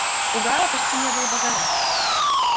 у гаала почти не было багажа